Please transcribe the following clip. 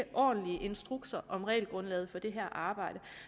ordentlige instrukser om regelgrundlaget for det her arbejde